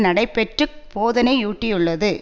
நடைபெற்று போதனையூட்டியுள்ளது